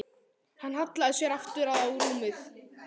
Hann hallaði sér aftur á rúmið.